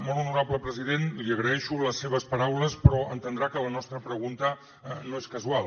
molt honorable president li agraeixo les seves paraules però entendrà que la nostra pregunta no és casual